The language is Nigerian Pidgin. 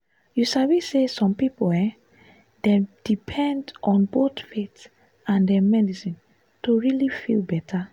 you sabi say some people um dey depend on both faith and um medicine to really feel better.